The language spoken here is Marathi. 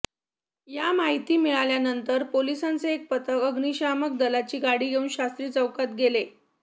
या माहिती मिळाल्यानंतर पोलिसांचे एक पथक अग्निशमन दलाची गाडी घेऊन शास्त्री चौकात गेले